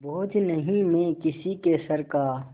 बोझ नहीं मैं किसी के सर का